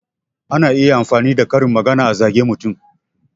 Ana iya amfani da karin magana a zage mutum